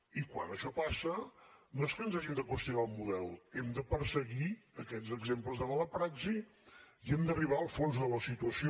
i quan això passa no és que ens hàgim de qüestionar el model hem de perseguir aquests exemples de mala praxi i hem d’arribar al fons de la situació